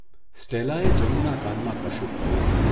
સ્ટેલાએ જનુના કાનમાં કશુંક કહ્યું.